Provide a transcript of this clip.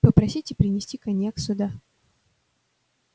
попросите принести коньяк сюда